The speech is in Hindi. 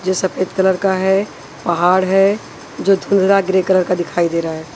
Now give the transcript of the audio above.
जो सफेद कलर का है पहाड़ है जो धुरा ग्रे कलर का दिखाई दे रहा है।